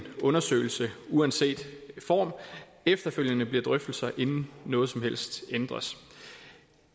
undersøgelse uanset form efterfølgende bliver drøftelser inden noget som helst ændres